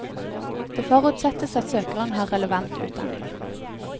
Det forutsettes at søkeren har relevant utdanning.